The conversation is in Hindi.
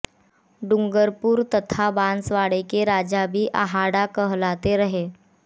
डूंगरपुर तथा बांसवाड़े के राजा भी आहाड़ा कहलाते रहे